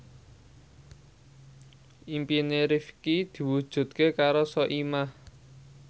impine Rifqi diwujudke karo Soimah